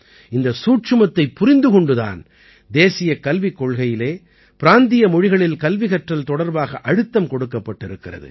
இந்த சூட்சுமத்தைப் புரிந்து கொண்டு தான் தேசியக் கல்விக் கொள்கையில் பிராந்திய மொழிகளில் கல்வி கற்றல் தொடர்பாக அழுத்தம் கொடுக்கப்பட்டிருக்கிறது